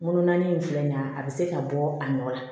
Ŋolonanin in filɛ nin ye a be se ka bɔ a nɔ la